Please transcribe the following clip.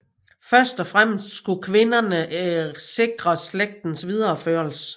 Først og fremmest skulle kvinderne sikre slægtens videreførelse